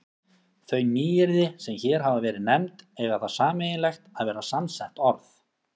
Þau nýyrði, sem hér hafa verið nefnd, eiga það sameiginlegt að vera samsett orð.